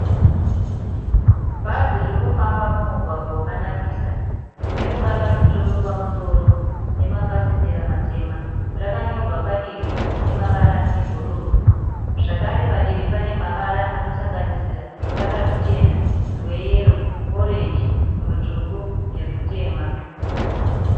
Bhazi riri kufamba mumugwagwa wakanakisa. Rine ruvara rutsvuku pamusoro nemafasitera matema. Rakanyorwa padivi nemavara ebhuruu. Zvakare padivi pane mavara anosanganisira ruvara ruchena, rweyero, orenji, rutsvuku nerutema.